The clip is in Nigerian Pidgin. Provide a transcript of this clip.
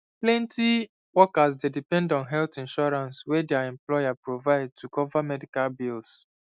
plenty workers dey depend on health insurance wey dia employer provide to cover medical bills